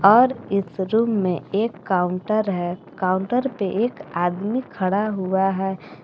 और इस रूम में एक काउंटर है काउंटर पे एक आदमी खड़ा हुआ है।